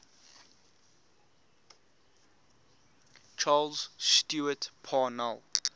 charles stewart parnell